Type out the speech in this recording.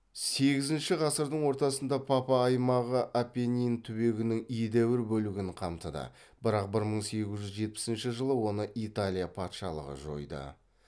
сегізінші ғасырдың ортасында папа аймағы апеннин түбегінің едәуір бөлігін қамтыды бірақ бір мың сегіз жүз жетпісінші жылы оны италия патшалығы жойды